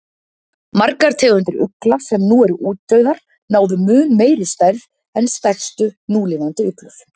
Margar tegundir ugla sem nú eru útdauðar, náðu mun meiri stærð en stærstu núlifandi uglur.